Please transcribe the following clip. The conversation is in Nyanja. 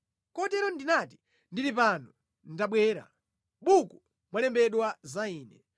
Kotero ndinati, “Ndili pano, ndabwera. Mʼbuku mwalembedwa za ine.